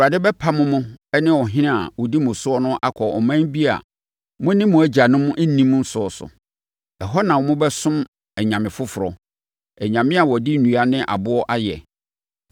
Awurade bɛpamo mo ne mo ɔhene a ɔdi mo so no akɔ ɔman bi a mo ne mo agyanom nnim so so. Ɛhɔ na mobɛsom anyame foforɔ, anyame a wɔde nnua ne aboɔ ayɛ.